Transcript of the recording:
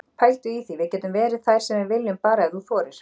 Pældu í því, við getum verið þær sem við viljum, bara ef þú þorir.